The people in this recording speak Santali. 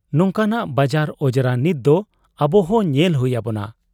ᱱᱚᱝᱠᱟᱱᱟᱜ ᱵᱟᱡᱟᱨ ᱟᱡᱽᱨᱟ ᱱᱤᱛᱫᱚ ᱟᱵᱚᱦᱚᱸ ᱧᱮᱞ ᱦᱩᱭ ᱟᱵᱚᱱᱟ ᱾